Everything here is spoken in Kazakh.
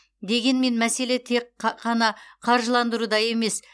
дегенмен мәселе тек қана қаржыландыруда емес